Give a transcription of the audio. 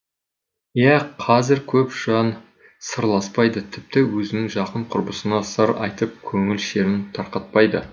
иә қазір көп жан сырласпайды тіпті өзінің жақын құрбысына сыр айтып көңіл шерін тарқатпайды